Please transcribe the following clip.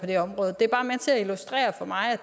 det område det er bare med til at illustrere at